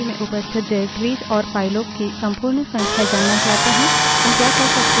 मानिए कि हम वर्तमान directories निर्देशिका में उपस्थित directories निर्देशिकाओं और फाइलों की संपूर्ण संख्या जानना चाहते हैं